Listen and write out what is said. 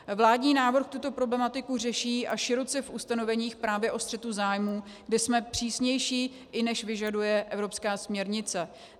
Vládní návrh tuto problematiku řeší, a široce, v ustanoveních právě o střetu zájmů, kde jsme přísnější, i než vyžaduje evropská směrnice.